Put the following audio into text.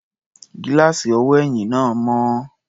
Gíláàsì ọwọ́ ẹ̀yìn náà mọ́.